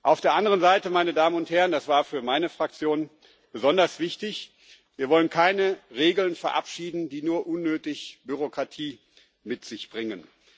Auf der anderen Seite, meine Damen und Herren das war für meine Fraktion besonders wichtig Wir wollen keine Regeln verabschieden, die nur unnötig Bürokratie mit sich bringen.